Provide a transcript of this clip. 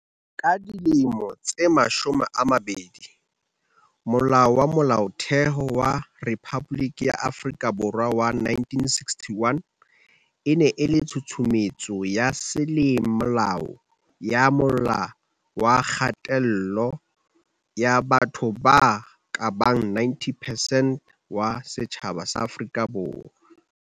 Ka dilemo tse mashome a mabedi, Molao wa Molaotheo wa Rephaboliki ya Afrika Borwa wa 1961 e ne e le tshusumetso ya semolao ya mola wa kgatello ya batho ba kabang 90 percent wa setjhaba sa Afrika Borwa.